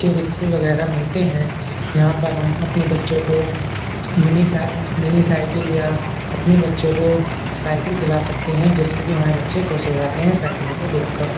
E rickshaw वगैरा मिलते है। यहाँ पर हम अपने बच्चो को मिनी सा मिनी साइकिल या अपने बच्चो को साइकिल दिला सकते है जिससे कि हमारे बच्चे खुश हो जाते है साइकिलों को देख कर।